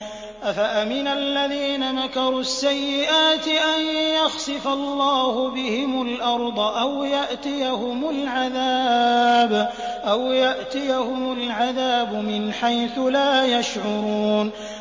أَفَأَمِنَ الَّذِينَ مَكَرُوا السَّيِّئَاتِ أَن يَخْسِفَ اللَّهُ بِهِمُ الْأَرْضَ أَوْ يَأْتِيَهُمُ الْعَذَابُ مِنْ حَيْثُ لَا يَشْعُرُونَ